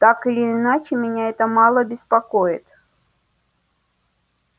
так или иначе меня это мало беспокоит